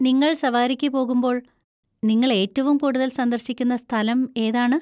നിങ്ങൾ സവാരിക്ക് പോകുമ്പോൾ നിങ്ങൾ ഏറ്റവും കൂടുതൽ സന്ദർശിക്കുന്ന സ്ഥലം ഏതാണ്?